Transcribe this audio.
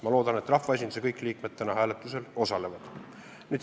Ma loodan, et rahvaesinduse kõik liikmed täna hääletusel osalevad.